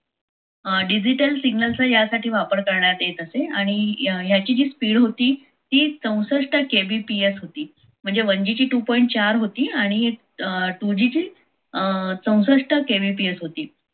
अं digital signal चा यासाठी वापर केला जात असे आणि याची speed होती ती चौसष्ट kbps होती म्हणजे one g ची two point चार होती आणि two g ची चौसष्ट kbps होती.